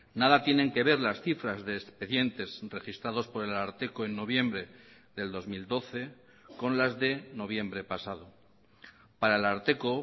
nada tienen que ver las cifras de expedientes registrados por el ararteko en noviembre del dos mil doce con las de noviembre pasado para el ararteko